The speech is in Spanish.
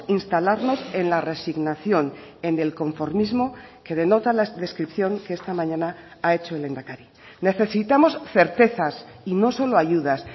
instalarnos en la resignación en el conformismo que denota la descripción que esta mañana ha hecho el lehendakari necesitamos certezas y no solo ayudas